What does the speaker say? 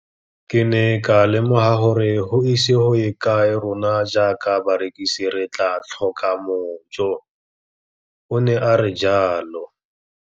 Ke ne ka lemoga gore go ise go ye kae rona jaaka barekise re tla tlhoka mojo, o ne a re jalo.